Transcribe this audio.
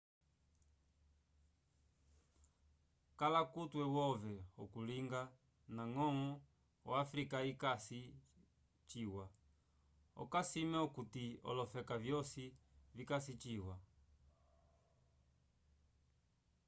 kala kutwe wove okulinga ndaño o africa yikasi ciwa okasime okuti olofeka vyosi vikasi ciwa